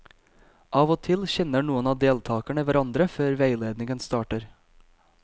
Av og til kjenner noen av deltakerne hverandre før veiledningen starter.